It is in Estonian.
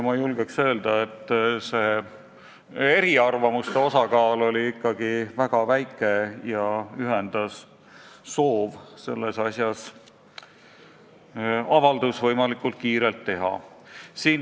Ma julgen öelda, et eriarvamuste osakaal oli ikkagi väga väike ja kõiki ühendas soov selles asjas võimalikult kiirelt avaldus teha.